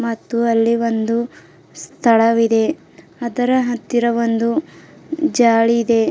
ಮತ್ತು ಅಲ್ಲಿ ಒಂದು ಸ್ಥಳವಿದೆ ಅದರ ಹತ್ತಿರ ಒಂದು ಜಾಳಿ ಇದೆ.